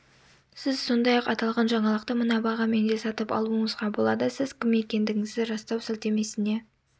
сіз сондай-ақ аталған жаңалықты мына бағамен де сатып алуыңызға болады сіз кім екендігіңізді растау сілтемесіне